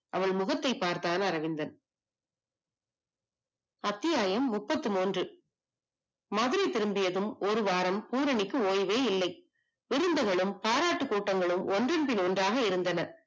அவள் முகத்தை பார்த்தான் அரவிந்தன். அத்யாயம் முப்பத்தி மூணு. மதுரை திரும்பியதும் ஒருவாரம் பூரணிக்கு ஓய்வே இல்லை பாரத்துக் கூட்டங்களும் ஒன்றின் பின் ஒன்றாக இருந்தன.